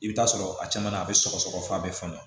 I bɛ t'a sɔrɔ a caman na a bɛ sɔgɔsɔgɔ fɔ a bɛ falen